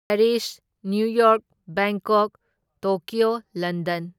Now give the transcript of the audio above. Paris, New York, Bangkok, Tokyo, London.